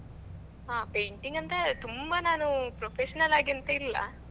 ಹಾ painting ಅಂತ ತುಂಬಾ ನಾನು professional ಆಗಿ ಎಂತ ಇಲ್ಲ.